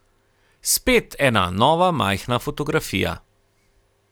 Spet ena nova majhna fotografija.